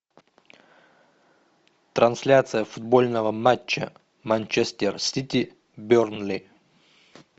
трансляция футбольного матча манчестер сити бернли